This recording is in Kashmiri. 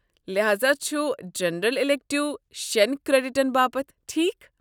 لحاذا چھُ جنرل ایٚلیکٹو شٮ۪ن کریڈٹن باپت، ٹھیکھ؟